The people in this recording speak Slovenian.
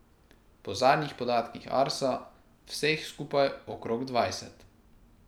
Po zadnjih podatkih Arsa vseh skupaj okrog dvajset.